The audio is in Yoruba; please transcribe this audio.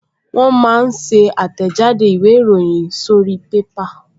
Wọ́n máa ń ṣe àtẹ̀jáde ìwé ìròyìn sórí pépà